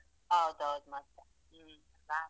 ಹೌದೌದು ಮತ್ತೆ ಹ್ಮ್.